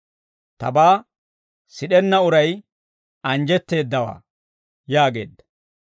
Tabaa sid'enna uray anjjetteeddaawaa» yaageedda.